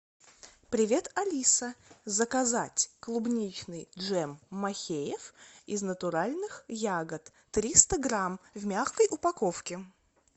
привет алиса заказать клубничный джем махеев из натуральных ягод триста грамм в мягкой упаковке